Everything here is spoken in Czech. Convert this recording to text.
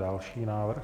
Další návrh.